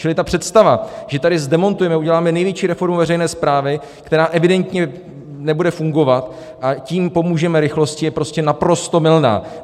Čili ta představa, že tady zdemontujeme, uděláme největší reformu veřejné správy, která evidentně nebude fungovat, a tím pomůžeme rychlosti, je prostě naprosto mylná.